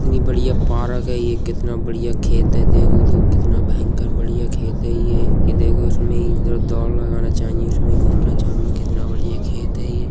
इतना बढ़िया पार्क है । ये कितना बढ़िया खेत है देखो तो कितना भयंकर बढ़िया खेत है ये ये देखो इसमें इधर दौड़ लगाना चाहिए। इसमें घूमना चाहिए। कितना बढ़िया खेत है ये।